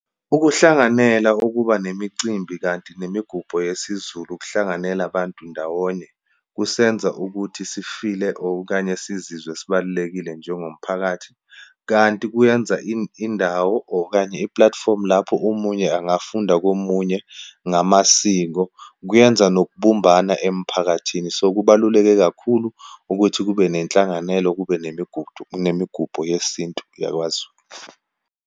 Ukuhlanganela ukuba nemicimbi kanti nemigubho yesiZulu, ukuhlanganela abantu ndawonye, kusenza ukuthi si-feel-e, okanye sizizwe sibalulekile njengomphakathi. Kanti kuyenza indawo okanye iplathifomu lapho omunye angafunda komunye ngamasiko. Kuyenza nokubumbana emphakathini. So, kubaluleke kakhulu ukuthi kube nenhlanganelo, kube nemigudu, nemigubho yesintu yakwaZulu.